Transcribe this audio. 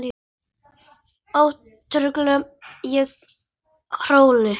Ó, tauta ég óróleg.